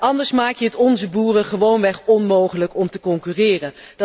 Anders maak je het onze boeren gewoonweg onmogelijk om te concurreren.